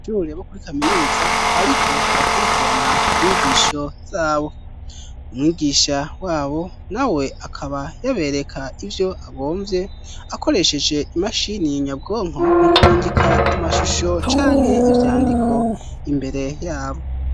abanyeshure bo kuri kaminuza bariko barakurikirana inyigisho zabo umwigisha wabo na we akaba yabereka ivyo agomvye akoresheje imashini nyabwonko mu kurungika amashusho canke ivyandiko imbere yabo.